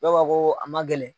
Dɔw b'a fɔ ko a ma gɛlɛn